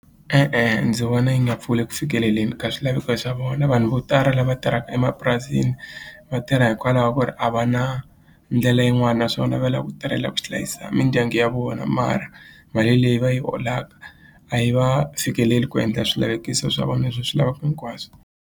E-e ndzi vona yi nga pfuli eku fikeleleni ka swilaveko swa vona vanhu vo tala lava tirhaka emapurasini va tirha hikwalaho ku ri a va na ndlela yin'wani naswona va lava ku tirhela ku hlayisa mindyangu ya vona mara mali leyi va yi holaka a yi va fikeleli ku endla swilaveko swa vona leswi va swi lavaka hinkwaswo.